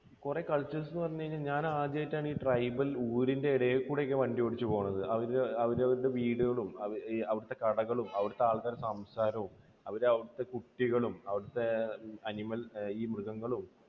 കുറെ cultures എന്ന് പറഞ്ഞു കഴിഞ്ഞാൽ ഞാൻ ആദ്യമായിട്ടാണ് ഈ ട്രൈബൽ ഒരു ഊരിൽ കൂടെയൊക്കെ വണ്ടിയോടിച്ചു പോണത്. അവരുടെ, അവരുടെ വീടുകളും അവിടുത്തെ കടകളും അവിടുത്തെ ആൾക്കാരുടെ സംസാരവും അവരുടെ അവിടുത്തെ കുട്ടികളും അവിടുത്തെ animal ഈ മൃഗങ്ങളും